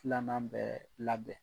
Filanan bɛɛ labɛn